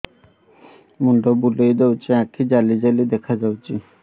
ମୁଣ୍ଡ ବୁଲେଇ ଦଉଚି ଆଖି ଜାଲି ଜାଲି ଦେଖା ଯାଉଚି